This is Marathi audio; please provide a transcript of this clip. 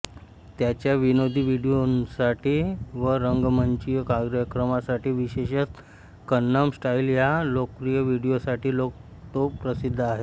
त्याच्या विनोदी व्हिडिओंसाठी व रंगमंचीय कार्यक्रमांसाठी विशेषतः कन्नम स्टाईल या लोकप्रिय व्हिडिओसाठी तो प्रसिद्ध आहे